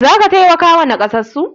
Za ka taimakawa nakasassu?